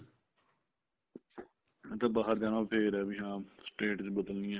ਇਹ ਤਾਂ ਬਾਹਰ ਜਾਣਾ ਫ਼ੇਰ ਆ ਵੀ ਹਾਂ state ਬਦਲਣੀ ਆ